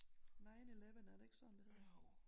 9/11 er det ikke sådan det hedder